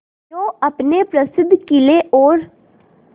जो अपने प्रसिद्ध किले और